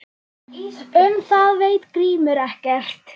Um það veit Grímur ekkert.